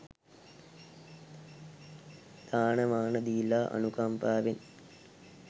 දාන මාන දීලා අනුකම්පාවෙන්